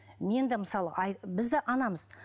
мен де мысалы біз де анамыз